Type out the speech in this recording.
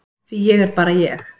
Því ég er bara ég.